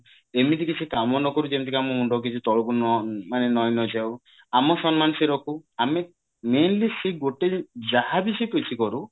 ଏମିତି କିଛି କାମ ନକରୁ ଯେମତି କି ଆମ ମୁଣ୍ଡ କିଛି ତଳକୁ ନ ମାନେ ନଇଁ ନ ଯାଉ ଆମ ସମ୍ମାନ ସେ ରଖୁ ଆମେ mainly ସେଇ ଗୋଟେ ଜି ଯାହାବି ସେ କିଛି କରୁ